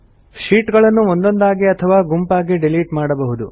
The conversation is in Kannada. ಶೀಟ್ ಗಳನ್ನು ಒಂದೊಂದಾಗಿ ಅಥವಾ ಗುಂಪಾಗಿ ಡಿಲಿಟ್ ಮಾಡಬಹುದು